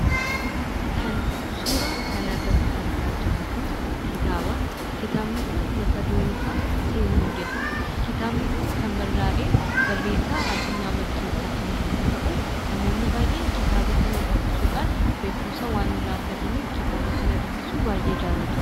Kan suuraa kana irratti argaa jirru kun kitaaba. Kitaabni kun mata dureen isaa "semmo" jedha. Kitaabni kun kan barraa'e barreessaa Addunyaa Barkeessaatiin yommuu ta'u, namoonni baayyeen dubnisuudhaan beekkumsa waan irraa argataniif kitaaba kana dubbisuu baayyee jaalatu.